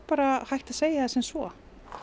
hægt að segja það sem svo